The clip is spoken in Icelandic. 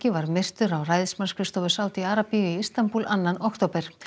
var myrtur á ræðismannsskrifstofu Sádi Arabíu í Istanbúl annan október